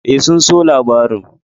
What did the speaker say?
E, sun so labarin.